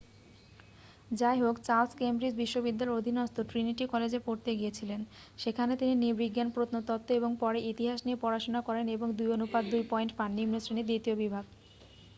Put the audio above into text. যাইহোক Charles Cambridge বিশ্ববিদ্যালয়ের অধীনস্থ ট্রিনিটি কলেজে পড়তে গিয়েছিলেন। সেখানে তিনি নৃবিজ্ঞান প্রত্নতত্ত্ব এবং পরে ইতিহাস নিয়ে পড়াশোনা করেন এবং ২:২ পয়েন্ট পান নিম্ন শ্রেণীর দ্বিতীয় বিভাগ